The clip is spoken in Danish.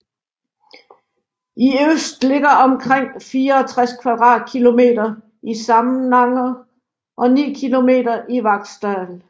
I øst ligger omkring 64 km² i Samnanger og 9 km² i Vaksdal